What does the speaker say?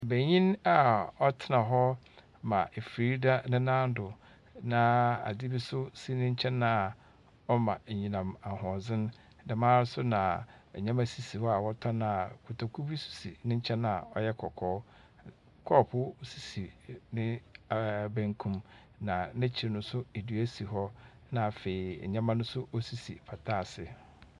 Banyin a ɔtsena hɔ ma efiri da nenan do, na adze bi so si n'enkyɛn a ɔma enyinam ahoɔden. Dɛm ara so na ɛnyɛma sisi hɔ a wɔtɔn a kotoku bi si nenkyɛn a ɔyɛ kɔkɔɔ. Kɔɔpoo sisi ne benkum, na n'ekyir no so edua si hɔ, na afei nyɛma no osisi pata ase.